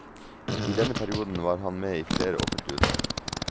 I denne perioden var han med i flere offentlige utvalg.